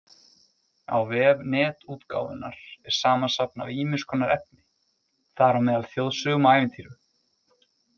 Á vef Netútgáfunnar er samansafn af ýmiss konar efni, þar á meðal þjóðsögum og ævintýrum.